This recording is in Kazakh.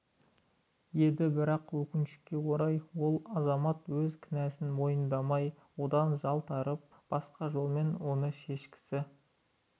еді бірақ өкінішке орай ол азамат өз кінәсін мойындамай одан жалтарып басқа жолмен оны шешкісі